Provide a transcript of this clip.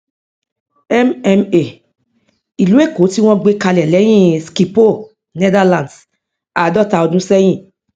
mma ìlú èkó tí wọn gbé kalẹ lẹyìn schipol netherlands àádọta ọdún ṣẹyìn